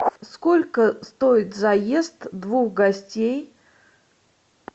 сколько стоит заезд двух гостей